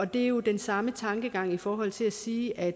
det er jo den samme tankegang i forhold til at sige at